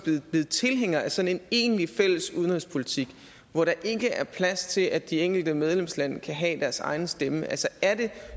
blevet tilhængere af sådan en egentlig fælles udenrigspolitik hvor der ikke er plads til at de enkelte medlemslande kan have deres egen stemme er det